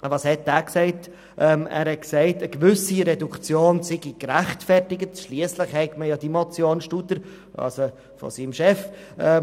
Er war der Meinung, eine gewisse Reduktion sei gerechtfertigt, schliesslich gebe es ja die Motion Studer, also die Motion seines Chefs.